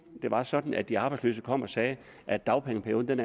det var sådan at de arbejdsløse kom og sagde at dagpengeperioden